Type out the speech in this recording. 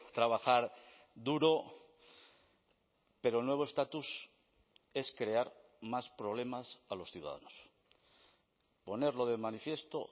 trabajar duro pero nuevo estatus es crear más problemas a los ciudadanos ponerlo de manifiesto